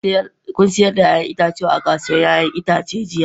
Kun sayar da 'ya'yan itatuwanku a kasuwar 'ya'yan itace jiya?